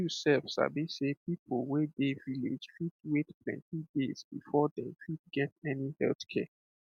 you sef sabi sey people wey dey village fit wait plenty days before dem fit get any health care